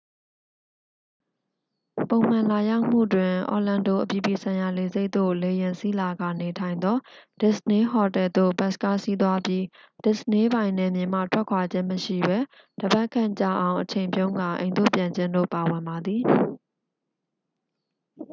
"""ပုံမှန်" လာရောက်မှုတွင် orlando အပြည်ပြည်ဆိုင်ရာလေဆိပ်သို့ လေယာဉ်စီးလာကာ နေထိုင်နိုင်သော disney ဟိုတယ်သို့ ဘတ်စ်ကားစီးသွားပြီး disney ပိုင် နယ်မြေမှ ထွက်ခွာခြင်းမရှိဘဲ တစ်ပတ်ခန့်ကြာအောင်အချိန်ဖြုန်းကာ အိမ်သို့ပြန်ခြင်းတို့ ပါဝင်ပါသည်။